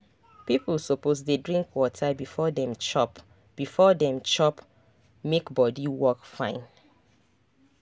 people suppose dey drink water before dem chop before dem chop make body work fine.